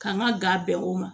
K'an ka ga bɛn o ma